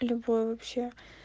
любой вообще